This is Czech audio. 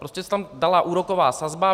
Prostě se tam dala úroková sazba.